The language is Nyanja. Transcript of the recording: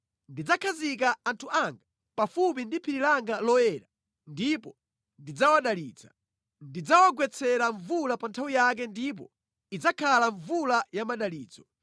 Ndidzakhazika anthu anga pafupi ndi phiri langa loyera ndipo ndidzawadalitsa. Ndidzawagwetsera mvula pa nthawi yake ndipo idzakhala mvula ya madalitso.